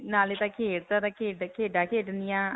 ਤਾਲੇ ਤਾਂ ਖੇਡਾਂ ਖੇਡਣਿਆਂ.